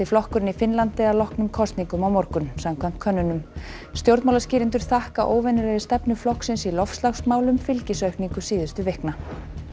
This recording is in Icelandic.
flokkurinn í Finnlandi að loknum kosningum á morgun samkvæmt könnunum stjórnmálaskýrendur þakka óvenjulegri stefnu flokksins í loftslagsmálum fylgisaukningu síðustu vikna